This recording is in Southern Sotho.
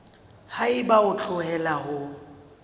ha eba o hloleha ho